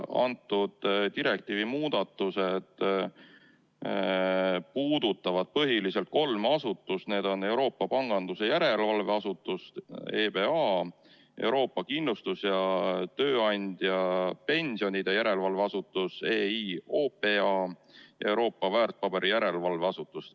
Selle direktiivi muudatused puudutavad põhiliselt kolme asutust: Euroopa Pangandusjärelevalve Asutus , Euroopa Kindlustus- ja Tööandjapensionide Järelevalve Asutus ja Euroopa Väärtpaberiturujärelevalve Asutus .